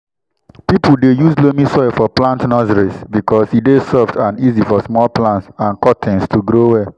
people dey use loamy soil for plant nurseries because e dey soft and easy for small plants and cuttings to grow well.